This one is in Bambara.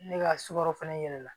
Ne ka sukaro fɛnɛ yɛlɛma